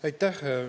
Aitäh!